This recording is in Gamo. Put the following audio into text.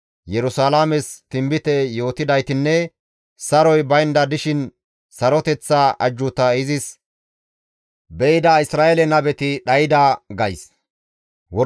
Yerusalaames tinbite yootidaytinne saroy baynda dishin saroteththa ajjuuta izis be7ida Isra7eele nabeti dhayda› gays.